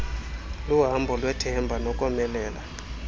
luhambo lwethemba nokomelela